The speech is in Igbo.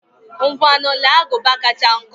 Ngwanu, lee agụba kacha nkọ.